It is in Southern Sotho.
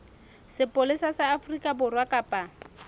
sepolesa sa afrika borwa kapa